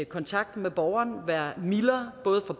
kontakt med borgeren være mildere både for